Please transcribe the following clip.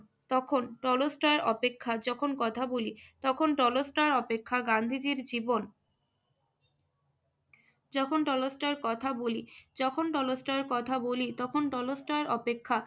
তখন টলস্টয় অপেক্ষা যখন কথা বলি~ তখন টলস্টয় অপেক্ষা গান্ধীজীর জীবন যখন টলস্টয়ের কথা বলি~ যখন টলস্টয় কথা বলি তখন টলস্টয় অপেক্ষা